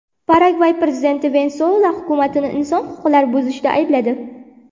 Paragvay prezidenti Venesuela hukumatini inson huquqlarini buzishda aybladi.